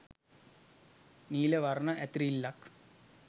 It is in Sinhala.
නීල වර්ණ ඇතිරිල්ලක්